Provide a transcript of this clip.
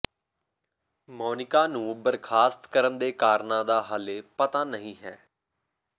ਮੋਨਿਕਾ ਨੂੰ ਬਰਖਾਸਤ ਕਰਨ ਦੇ ਕਾਰਨਾਂ ਦਾ ਹਾਲੇ ਪਤਾ ਨਹੀਂ ਹੈ